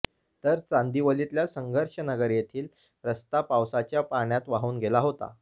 तर चांदिवलीतल्या संघर्ष नगर येथील रस्ता पावसाच्या पाण्यात वाहून गेला होता